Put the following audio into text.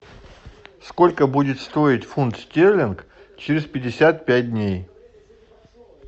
сколько будет стоить фунт стерлинг через пятьдесят пять дней